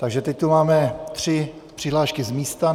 Takže teď tu máme tři přihlášky z místa.